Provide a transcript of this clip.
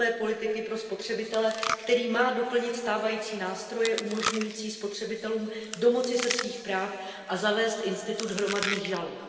nové politiky pro spotřebitele, který má doplnit stávající nástroje umožňující spotřebitelům domoci se svých práv a zavést institut hromadných žalob.